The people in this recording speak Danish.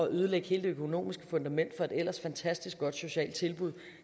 ødelægge hele det økonomiske fundament for et ellers fantastisk godt socialt tilbud